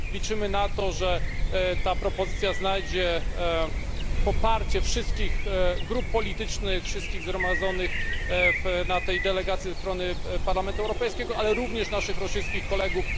Liczymy na to, że ta propozycja znajdzie poparcie wszystkich grup politycznych, wszystkich zgromadzonych na tej delegacji ze strony Parlamentu Europejskiego, ale również naszych rosyjskich kolegów.